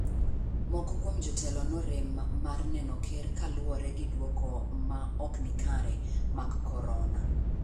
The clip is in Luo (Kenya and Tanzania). Moko kuom jotelo norem mar neno ker kaluwore gi duoko mag ma ok ni kare mag kororna.